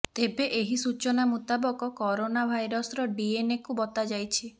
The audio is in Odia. ତେବେ ଏହି ସୂଚନା ମୁତାବକ କରୋନା ଭାଇରସ ର ଡିଏନଏ କୁ ବତାଯାଇଛି